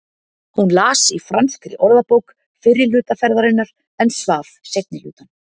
Hún las í franskri orðabók fyrri hluta ferðarinnar en svaf seinni hlutann.